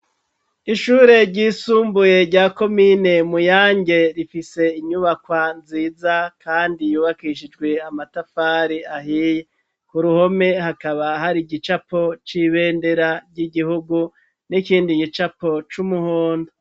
Ishure ryisumbuye rya komine Muyange rifise inyubakwa nziza kandi yubakishijwe amatafari ahiye. Ku ruhome hakaba hari igicapo c'ibendera ry'igihugu, n'ikindi gicapo c'umuhondo.